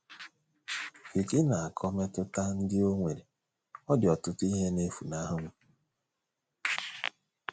Vicki na - akọ mmetụta ndị o nwere: “ Ọ dị ọtụtụ ihe na - efunahụ m.